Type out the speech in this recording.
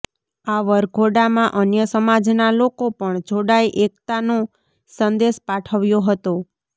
આ વરઘોડામાં અન્ય સમાજના લોકો પણ જોડાઇ એકતાનો સંદેશ પાઠવ્યો હતો